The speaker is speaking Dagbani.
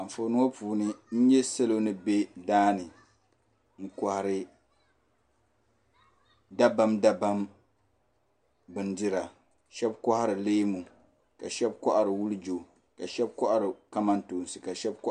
Anfooni ŋɔ puuni n nyɛ salo ni be daani n kohari dabam dabam bindira sheba kohari leemu ka sheba kohari wulijo ka sheba kohari kamantoosi ka sheba kahari.